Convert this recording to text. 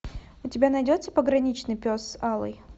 у тебя найдется пограничный пес алый